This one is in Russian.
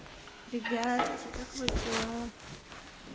ребятки как у вас дела